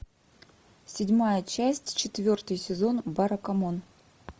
седьмая часть четвертый сезон баракамон